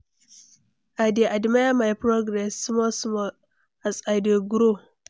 I dey admire my progress, small small, as I dey grow.